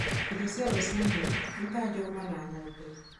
Irio cia rũcinĩ nĩ ta njũgũma na ng'ombe.